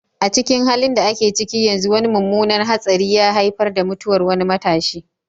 A cikin halin da ake ciki yanzu, wani mummunan hatsari ya haifar da mutuwar wani matashi,